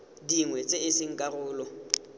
dingwe tse e seng karolo